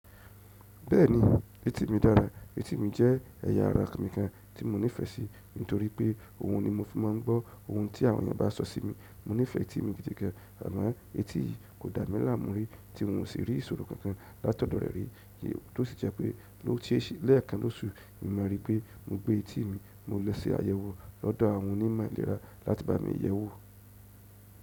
Bẹ́ẹ̀ni, etí mi dára. Etí mi jẹ́ ẹ̀yà ara mi kan tí mo nífẹsí nítorí pé òhun ni mo fi máa ń gbọ́ ohun tí àwọn ènìyàn bá sọ sí mi. Mo nífẹ́ etí mi gidi gan, àmọ etí yìí kò dà mí láàmú rí tí n ò sì rí ìṣòro kankan látọ̀dọ̀ rẹ̀ rí, kí n tó sì jẹ́ pé ló ti e lẹ́ẹ̀kan lóṣù, èmi máa rí pé mo gbé etí mi, mo lọ sí àyẹ̀wò lọ́dọ̀ àwọn onímọ̀ ìlera láti bá mi yẹ̀wò.